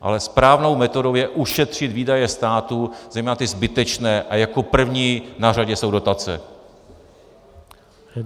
Ale správnou metodou je ušetřit výdaje státu, zejména ty zbytečné, a jako první na řadě jsou dotace.